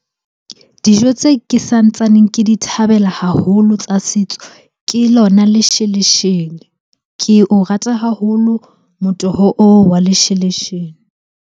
Dijo tse ke sa ntsaneng ke di thabela haholo tsa setso, ke lona lesheleshele. Ke o rata haholo motoho oo wa lesheleshele.